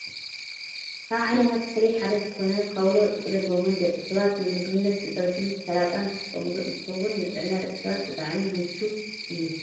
ካብ ዓይነታት ተክሊ ሓደ ዝኮነ ካውሎ /ጥቅልል ጎመን/ ደቂ ሰባት ንምግብነት ብፀብሕን ሰላጣን ዝጥቀሙሉ እንትከውን፣ ንጥዕና ደቂ ሰባት ብጣዕሚ ምችው እዩ።